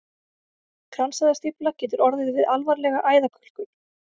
Kransæðastífla getur orðið við alvarlega æðakölkun.